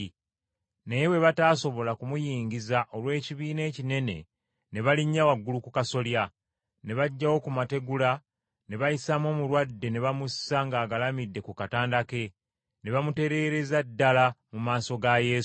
Naye bwe bataasobola kumuyingiza olw’ekibiina ekinene ne balinnya waggulu ku kasolya, ne baggyawo ku mategula ne bayisaamu omulwadde ne bamussa ng’agalamidde ku katanda ke ne baamutereereza ddala mu maaso ga Yesu.